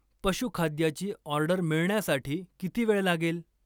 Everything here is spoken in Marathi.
पशु खाद्याची ऑर्डर मिळण्यासाठी किती वेळ लागेल?